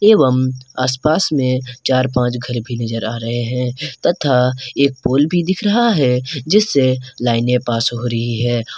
एवं आसपास में चार पांच घर भी नजर आ रहे हैं तथा एक पोल भी दिख रहा है जिससे लाइने पास हो रही है।